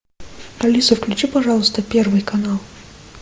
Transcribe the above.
алиса включи пожалуйста первый канал